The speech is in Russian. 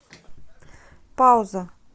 пауза